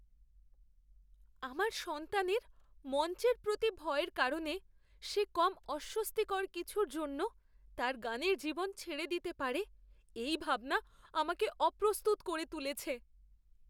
আমার সন্তানের মঞ্চের প্রতি ভয়ের কারণে সে কম অস্বস্তিকর কিছুর জন্য তার গানের জীবন ছেড়ে দিতে পারে এই ভাবনা আমাকে অপ্রস্তুত করে তুলেছে।